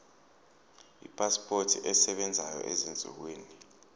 ipasipoti esebenzayo ezinsukwini